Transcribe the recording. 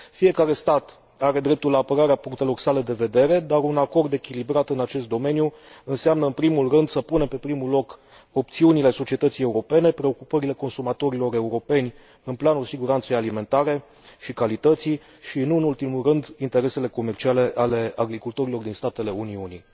Fiecare stat are dreptul la apărarea punctelor sale de vedere, dar un acord echilibrat în acest domeniu înseamnă în primul rând să punem pe primul loc opțiunile societății europene, preocupările consumatorilor europeni în planul siguranței alimentare și calității și, nu în ultimul rând, interesele comerciale ale agricultorilor din statele Uniunii.